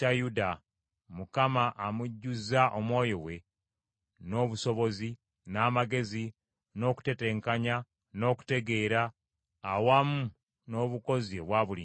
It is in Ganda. Mukama amujjuzza Omwoyo we, n’obusobozi, n’amagezi, n’okuteteenkanya, n’okutegeera, awamu n’obukozi obwa buli ngeri;